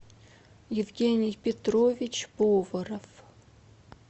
евгений петрович поворов